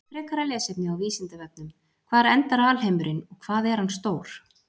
Frekara lesefni á Vísindavefnum: Hvar endar alheimurinn og hvað er hann stór?